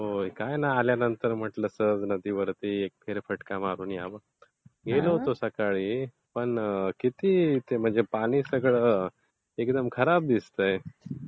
काही नाही. आल्यानंतर म्हटलं नदीवरती एक सहज फेरफटका मारून यावं. गेलो होतो सकाळी पण किती ते म्हणजे.... पाणी ते सगळं एकदम खराब दिसतंय.